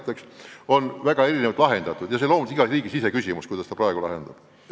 Need küsimused on väga erinevalt lahendatud ja see on loomulikult iga riigi enda otsustada, kuidas ta midagi teeb.